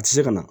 A tɛ se ka na